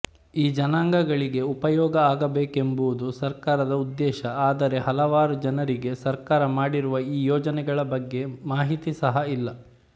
ಈಜನಾಂಗಗಳಿಗೆ ಉಪಯೋಗ ಅಗಬೇಕೆಂಬುವುದು ಸರ್ಕಾರದ ಉದ್ದೇಶ ಆದರೆ ಹಲವಾರು ಜನರಿಗೆ ಸರ್ಕಾರ ಮಾಡಿರುವ ಈ ಯೋಜನೆಗಳ ಬಗ್ಗೆ ಮಾಹಿತಿಸಹ ಇಲ್ಲ